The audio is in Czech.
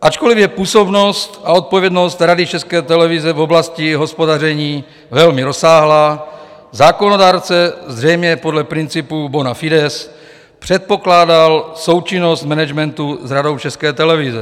Ačkoliv je působnost a odpovědnost Rady České televize v oblasti hospodaření velmi rozsáhlá, zákonodárce zřejmě podle principu bona fides předpokládal součinnost managementu s Radou České televize.